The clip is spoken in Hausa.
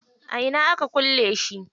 A ina aka kulle shi?